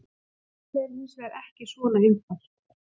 Málið er hins vegar ekki svona einfalt.